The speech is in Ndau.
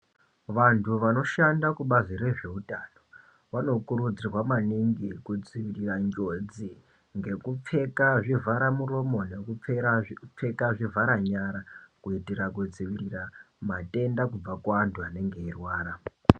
Vantu vanoshanda kubazi rezveutano vanokurudzirwa maningi kudzivirira njodzi ngekupfeka zvivhara muromo nekupfeka zvivhara nyara. Kuitira kudzivirira matenda kubva kuantu anenge eirwara.